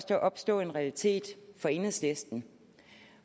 der opstå en realitet for enhedslisten